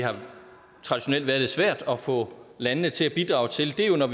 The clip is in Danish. traditionelt har været lidt svært at få landene til at bidrage til er jo når